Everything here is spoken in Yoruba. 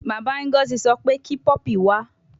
Baba Ngozi so pe ki puppy wa